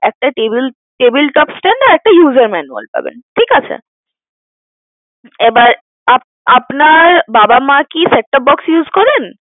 একটা table table top stand আর একটা user manual পাবেন ঠিকাছে, এবার আপ~ আপনার বাবা মা কি Set-top box use করেন?